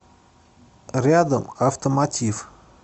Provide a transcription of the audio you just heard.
рядом автомотив